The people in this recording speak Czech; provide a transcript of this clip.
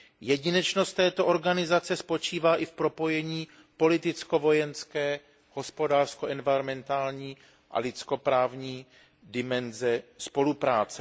Jedinečnost této organizace spočívá i v propojení politicko vojenské, hospodářsko enviromentální a lidskoprávní dimenze spolupráce.